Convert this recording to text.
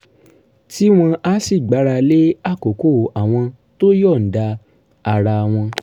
tí wọ́n á sì gbára lé àkókò àwọn tó yọ̀ǹda ara wọn